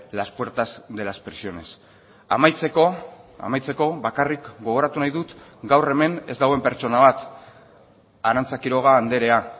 las puertas de las prisiones amaitzeko amaitzeko bakarrik gogoratu nahi dut gaur hemen ez dagoen pertsona bat arantza quiroga andrea